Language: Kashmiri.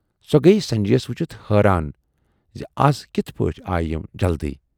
سۅ گٔیہِ سنجے یَس وُچھِتھ حٲران زِ از کِتھٕ پٲٹھۍ آیہِ یِم جلدی۔